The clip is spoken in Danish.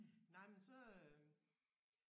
Nej men så øh